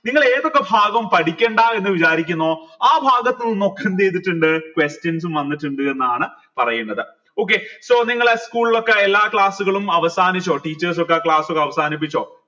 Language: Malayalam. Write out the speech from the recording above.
നിങ്ങൾ ഏതൊക്കെ ഭാഗം പഠിക്കേണ്ട എന്ന് വിചാരിക്കുന്നോ ആ ഭാഗത്തു നിന്ന് ഒക്കെ എന്ത് ചെയ്തിട്ടിണ്ട് questions വന്നിട്ടിണ്ടെന്നാണ് പറീന്നത് okay so നിങ്ങള school ലൊക്കെ എല്ലാ class കളും അവസാനിച്ചോ teachers ഒക്കെ ആ class ഒക്കെ അവസാനിപ്പിച്ചോ